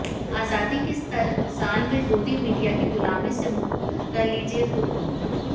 आज़ादी के सत्तर साल में गोदी मीडिया की गुलामी से मुक्त कर लीजिए ख़ुद को